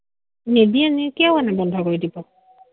নিদিয়ে, কিহৰ কাৰণেনো বন্ধ কৰি দিব।